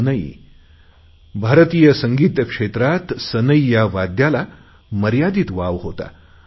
सनई भारतीय संगीत क्षेत्रात सनई या वाद्याला मर्यादित वाव होता